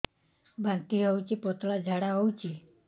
ବାନ୍ତି ହଉଚି ପତଳା ଝାଡା ହଉଚି